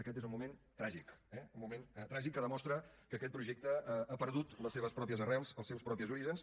aquest és un moment tràgic eh un moment tràgic que demostra que aquest projecte ha perdut les seves pròpies arrels els seus propis orígens